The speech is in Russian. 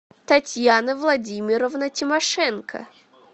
татьяна владимировна тимошенко